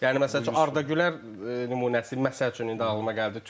Yəni məsəl üçün Arda Güler nümunəsi məsəl üçün indi ağılıma gəldi.